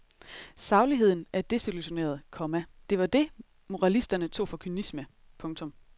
Sagligheden er desillusioneret, komma det var det moralisterne tog for kynisme. punktum